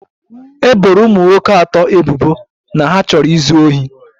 E boro ụmụ nwoke atọ ebubo na ha chọrọ izu ohi